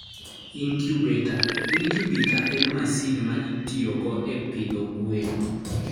Incubator: Incubator en masin ma itiyogo e pidho gwen.